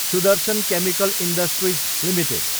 Sudarshan chemical industries Ltd